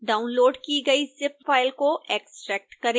download की गई zip file को एक्स्ट्रैक्ट करें